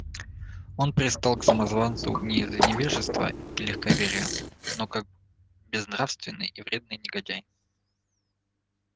он пристал к самозванцу не из невежества и легковерия но как безнравственный и вредный негодяй